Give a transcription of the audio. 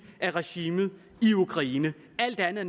af regimet i ukraine alt andet